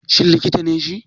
Shin likita ne shi?